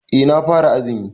Eh na fara azumi.